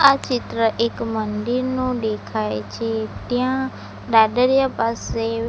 આ ચિત્ર એક મંદિરનું દેખાય છે ત્યાં દાદરીયા પાસે --